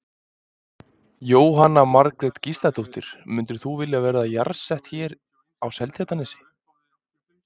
Jóhanna Margrét Gísladóttir: Mundir þú vilja vera jarðsettur hérna á Seltjarnarnesi?